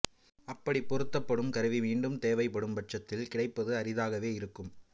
அப்படி பொருத்தப்படும் கருவி மீண்டும் தேவைப்படும் பட்சத்தில் கிடைப்பது அரிதாகவே இருக்கும்